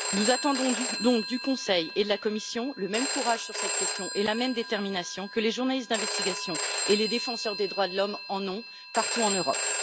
Nous attendons donc du Conseil et de la Commission le même courage sur cette question et la même détermination que les journalistes d'investigation et les défenseurs des droits de l'homme, partout en Europe.